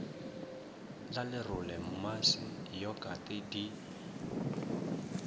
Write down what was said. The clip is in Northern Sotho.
la lerole mmase yokate di